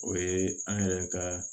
O ye an yɛrɛ ka